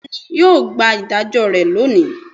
beni yio gba idajo re loni